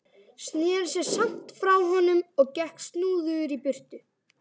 Sneri sér samt frá honum og gekk snúðugur í burtu.